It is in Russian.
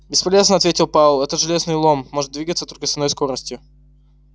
бесполезно ответил пауэлл этот железный лом может двигаться только с одной скоростью